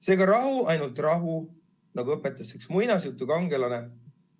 Seega rahu, ainult rahu, nagu õpetas üks tuntud raamatutegelane.